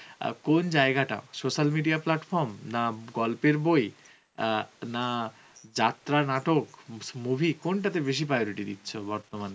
আ কোন জায়গাটা social media platform, না গল্পের বই অ্যাঁ না যাত্রা নাটক, movie কোনটাতে বেসি priority দিচ্ছো বর্তমানে ?